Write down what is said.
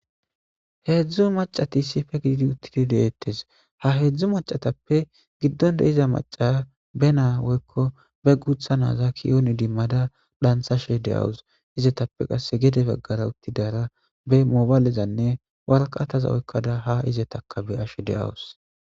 Hezhu macati issipe gididi utidi detes ha hezhu macatape gido de'iza macaya be woyko be gutha naza ki'on idimada dhanthashe de'awuse izetape qase gede bagara utidara be mobakezane waraqataza oykada izetas ha be'ashe de'awuse